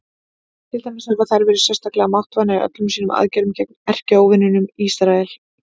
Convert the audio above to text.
Til dæmis hafa þær verið sérstaklega máttvana í öllum sínum aðgerðum gegn erkióvininum Ísrael.